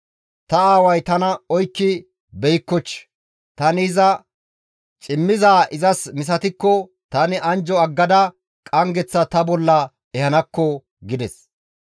Ta aaway tana oykki beykkochii? Tani iza cimmizaa izas misatikko tani anjjo aggada qanggeththa ta bolla ehanaakko» gides.